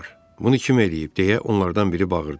Bunu kim eləyib, deyə onlardan biri bağırdı.